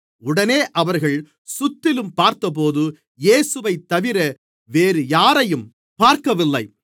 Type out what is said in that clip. உடனே அவர்கள் சுற்றிலும் பார்த்தபோது இயேசுவைத்தவிர வேறுயாரையும் பார்க்கவில்லை